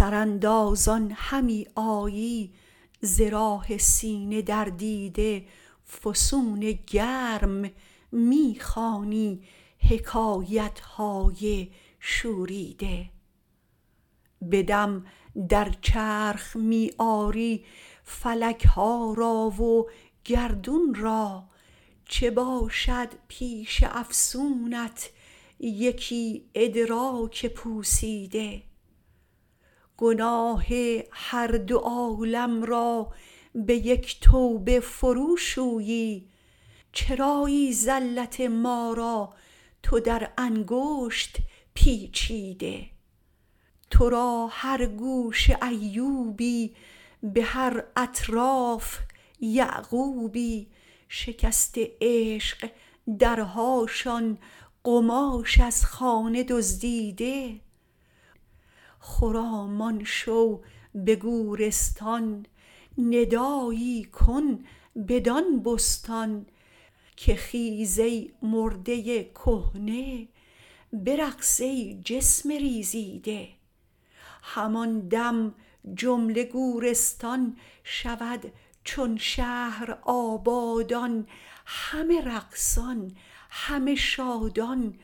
سراندازان همی آیی ز راه سینه در دیده فسونگرم می خوانی حکایت های شوریده به دم در چرخ می آری فلک ها را و گردون را چه باشد پیش افسونت یکی ادراک پوسیده گناه هر دو عالم را به یک توبه فروشویی چرایی زلت ما را تو در انگشت پیچیده تو را هر گوشه ایوبی به هر اطراف یعقوبی شکسته عشق درهاشان قماش از خانه دزدیده خرامان شو به گورستان ندایی کن بدان بستان که خیز ای مرده کهنه برقص ای جسم ریزیده همان دم جمله گورستان شود چون شهر آبادان همه رقصان همه شادان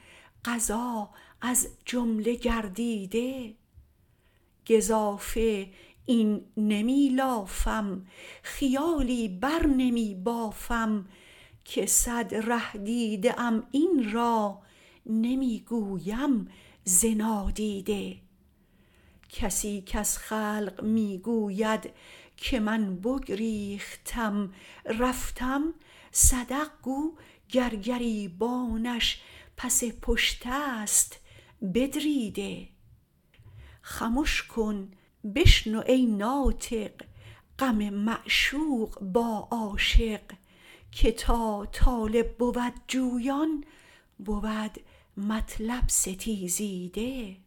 قضا از جمله گردیده گزافه این نمی لافم خیالی بر نمی بافم که صد ره دیده ام این را نمی گویم ز نادیده کسی کز خلق می گوید که من بگریختم رفتم صدق گو گر گریبانش پس پشت است بدریده خمش کن بشنو ای ناطق غم معشوق با عاشق که تا طالب بود جویان بود مطلب ستیزیده